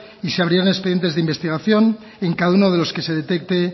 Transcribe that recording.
y se abrirán expedientes de investigación en cada uno de los que se detecte